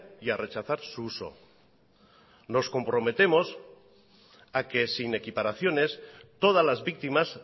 y a rechazar su uso nos comprometemos a que sin equiparaciones todas las víctimas